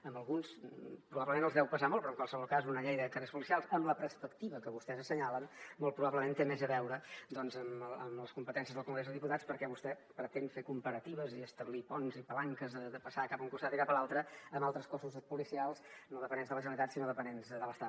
a alguns probablement els deu pesar molt però en qualsevol cas una llei de carreres policials amb la perspectiva que vostès assenyalen molt probablement té més a veure amb les competències del congrés dels diputats perquè vostè pretén fer comparatives i establir ponts i palanques de passar cap a un costat i cap a l’altre amb altres cossos policials no dependents de la generalitat sinó dependents de l’estat